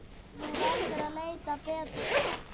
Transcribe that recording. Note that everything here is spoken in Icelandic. Þú verður að leita betur.